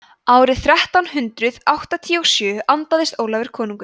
árið þrettán hundrað áttatíu og sjö andaðist ólafur konungur